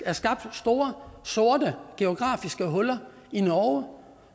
er skabt store sorte geografiske huller i norge